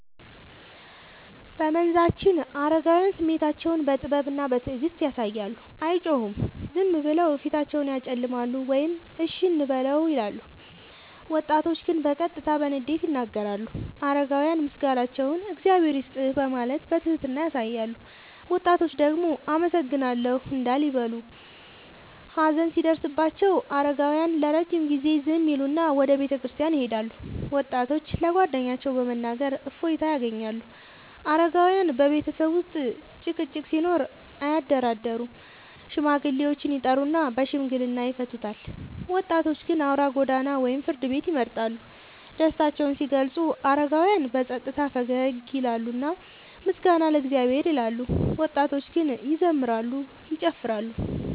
በመንዛችን አረጋውያን ስሜታቸውን በጥበብና በትዕግስት ያሳያሉ፤ አይጮሁም፤ ዝም ብለው ፊታቸውን ያጨለማሉ ወይም “እሺ እንበለው” ይላሉ። ወጣቶች ግን በቀጥታ በንዴት ይናገራሉ። አረጋውያን ምስጋናቸውን “እግዚአብሔር ይስጥህ” በማለት በትህትና ያሳያሉ፤ ወጣቶች ደግሞ “አመሰግናለሁ” እንዳል ይበሉ። ሀዘን ሲደርስባቸው አረጋውያን ለረጅም ጊዜ ዝም ይላሉና ወደ ቤተክርስቲያን ይሄዳሉ፤ ወጣቶች ለጓደኞቻቸው በመናገር እፎይታ ያገኛሉ። አረጋውያን በቤተሰብ ውስጥ ጭቅጭቅ ሲኖር አያደራደሩም፤ ሽማግሌዎችን ይጠሩና በሽምግልና ይፈቱታል። ወጣቶች ግን አውራ ጎዳና ወይም ፍርድ ቤት ይመርጣሉ። ደስታቸውን ሲገልጹ አረጋውያን በጸጥታ ፈገግ ይላሉና “ምስጋና ለእግዚአብሔር” ይላሉ፤ ወጣቶች ግን ይዘምራሉ፤ ይጨፍራሉ።